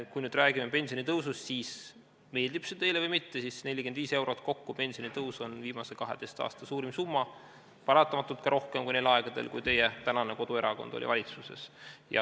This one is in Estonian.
Kui me räägime pensionitõusust, siis meeldib see teile või mitte, kokku 45 eurot pensionitõus on viimase 12 aasta suurim summa, paratamatult on see ka rohkem kui neil aegadel, kui teie tänane koduerakond oli valitsuses.